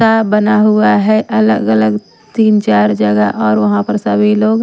बना हुआ है अलग-अलग तीन चार जगह और वहां पर सभी लोग --